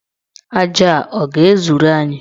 Aja a ọ ga-ezuru anyị?